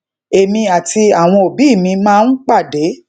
èmi àti awọn òbí mi máa ń pàdé